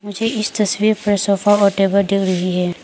मुझे इस तस्वीर पर सोफा और टेबल दिख रही है।